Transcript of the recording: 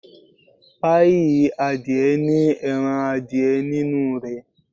Páíì adìẹ ní ẹran adìẹ nínú rẹ̀.